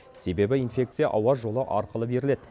себебі инфекция ауа жолы арқылы беріледі